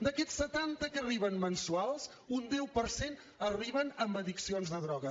d’aquests setanta que arriben mensuals un deu per cent arriba amb addiccions de droga